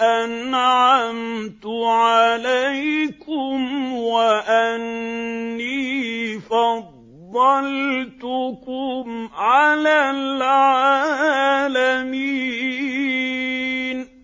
أَنْعَمْتُ عَلَيْكُمْ وَأَنِّي فَضَّلْتُكُمْ عَلَى الْعَالَمِينَ